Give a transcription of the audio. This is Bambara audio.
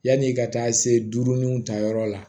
Yanni ka taa se duurunanw ta yɔrɔ la